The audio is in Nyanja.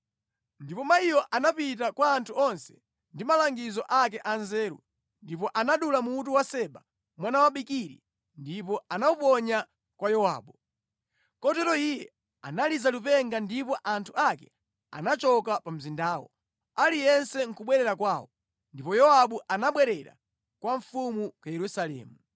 Ndipo mayiyo anapita kwa anthu onse ndi malangizo ake anzeru, ndipo anadula mutu wa Seba mwana wa Bikiri ndipo anawuponya kwa Yowabu. Kotero iye analiza lipenga ndipo anthu ake anachoka pa mzindawo, aliyense nʼkubwerera kwawo. Ndipo Yowabu anabwerera kwa mfumu ku Yerusalemu.